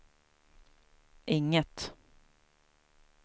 inget